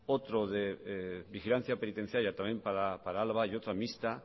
otro de vigilancia penitenciaria también para álava y otra mixta